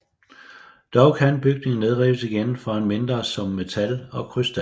Dog kan bygninger nedrives igen for en mindre sum metal og krystal